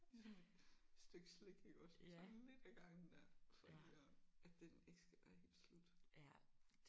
Ligesom et stykke slik iggås bare sådan lidt af gangen der så det ikke er at den ikke skal være helt slut